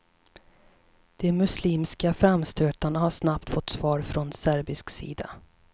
De muslimska framstötarna har snabbt fått svar från serbisk sida.